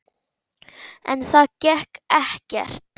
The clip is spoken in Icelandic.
En það gekk ekkert.